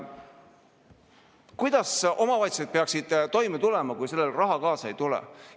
Kuidas omavalitsused peaksid toime tulema, kui raha kaasa ei tule?